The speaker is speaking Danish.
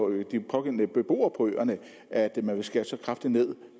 øer og de pågældende beboere på øerne at man vil skære så kraftigt ned